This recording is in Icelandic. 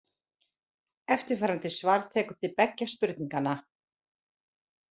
Eftirfarandi svar tekur til beggja spurninganna.